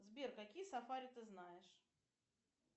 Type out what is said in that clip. сбер какие сафари ты знаешь